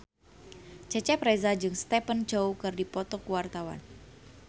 Cecep Reza jeung Stephen Chow keur dipoto ku wartawan